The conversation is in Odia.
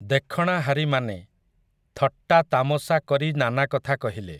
ଦେଖଣାହାରିମାନେ, ଥଟ୍ଟାତାମଶା କରି ନାନା କଥା କହିଲେ ।